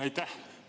Aitäh!